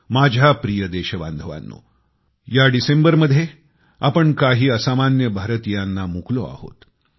माझ्या प्रिय देशवासियांनो ह्या डिसेंबरमध्ये आपण काही असामान्य भारतीयांना मुकलो आहोत